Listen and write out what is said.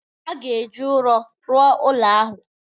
A ga-eji ụrọ rụọ ụlọ ahụ